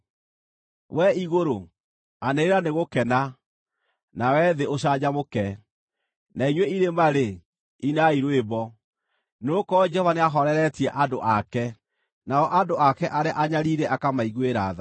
Wee igũrũ, anĩrĩra nĩ gũkena; nawe thĩ ũcanjamũke, na inyuĩ irĩma-rĩ, inai rwĩmbo! Nĩgũkorwo Jehova nĩahooreretie andũ ake, nao andũ ake arĩa anyariire akamaiguĩra tha.